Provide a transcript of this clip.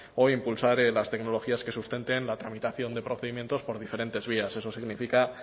o impulsar las tecnologías que sustenten la tramitación de procedimientos por diferentes vías eso significa